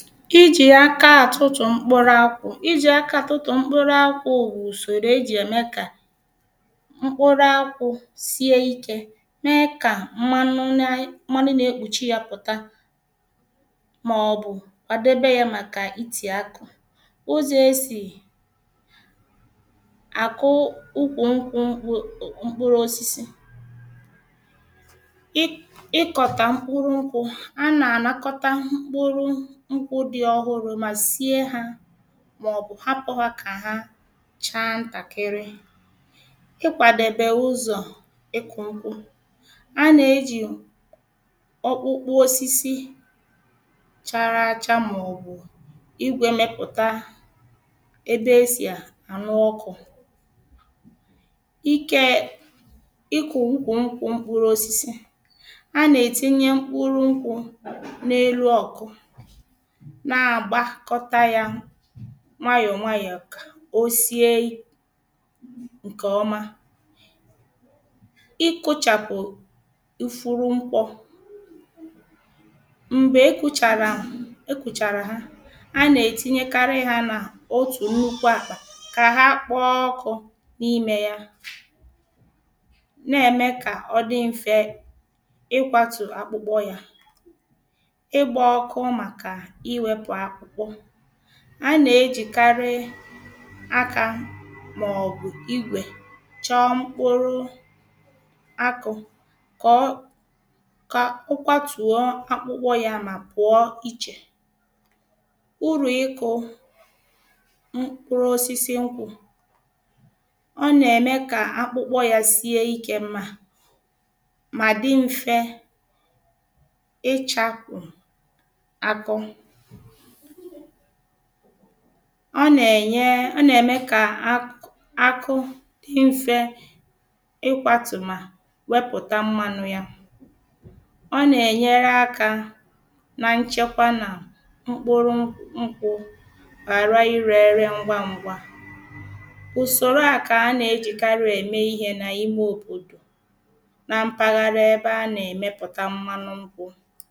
Iji̇ aka atụtụ̀ mkpụrụ akwụ:̇ I ji̇ aka atụtụ̀ mkpụrụ akwụ̇ wụ ùsòrò e ji̇ ème kà mkpụrụ akwụ̇ sie ikė mee kà mmanụ na ị, mmanụ na-ekpùchi yȧ pụ̀ta. màọ̀bụ̀ kwàdebe yȧ màkà itì akụ.̇ ụzọ̀ esì àkụ ukwù nkwù mkpụrụ̇ osisi i i kota mkpụrụ nkwù ànà anakota mkpụrụ nkwù di ọhụrụ ma sie ha, màọ̀bụ̀ hapụ ha kà ha chaa ntàkịrị. ịkwàdèbè ụzọ̀ ịkụ̀ nkwụ: A nà-ejì ọkpụkpụ osisi chara acha màọ̀bụ̀ igwė mepụ̀ta ebè esì ànụ ọkụ̀ ike ịkụ̀ ụkwụ̀ ṅkwụ mkpụrụ osịsi. A nà-etinye mkpụrụ ṅkwụ̀ n’elu ọ̀kụ̀, nà-agbakota yà nwayọọ nwayọọ kà o sie ǹkèọma. Ikụchàpụ̀ ịfụrụ mkpọ m̀gbè i kụchàrà i kụchàrà ha, anà-ètinyekarị ha nà otù nnukwu àkpà kà ha kpọọ ọkụ̇ n’imė ya, na-ème kà ọ dị mfe ịkwȧtù akpụkpọ yȧ. Igba ọkụ màkà iwepu akụ. A nà-ejìkarị akȧ màọ̀bụ̀ igwè chọọ mkpụrụ akụ̇ kà ọ, kà ọ kwàtùo akpụkpọ yȧ mà pụ̀ọ ichè. Ụrụ ikụ̇ mkpụrụ osisi nkwụ;̇ ọ nà-ème kà akpụkpọ yȧ sie ikė, mȧ, mà dị mfe ichapu àkụ. ọ nà-ènye, ọ nà-ème kà akụ akụ̇ dị ṁfė ịkwȧtù mà wepụ̀ta mmȧnụ̇ ya. ọ nà-ènyere akȧ na nchekwa nà mkpụrụ nkwụ̇ ghàra ịrė ėrė ngwa ngwa. ùsòro à kà a nà-ejìkarị ème ihe nà ime òbòdò nà mpàghara ebe a nà-èmepùta mmȧnụ nkwụ.̇